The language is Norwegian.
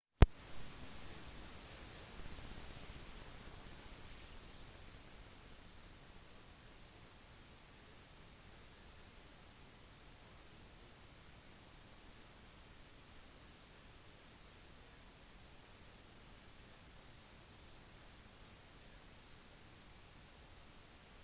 disse skjerpene har blitt observert rundt hele månen og de ser ut til å være lite forvitret noe som viser til at de geologiske hendelsene de kommer fra er ganske nylige